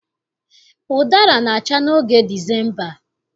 Ụdara na-acha n'oge Disemba